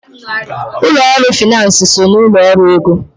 Ụlọ ọrụ finansi so n'ụlọ ọrụ ego.